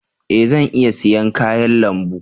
E! Zan iya siyan kayan lambu.